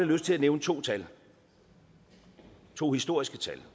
lyst til at nævne to tal to historiske tal